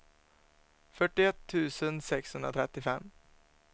fyrtioett tusen sexhundratrettiofem